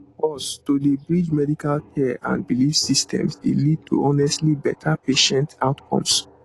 pause to dey bridge medical care and belief systems dey lead to honestly better patient outcomes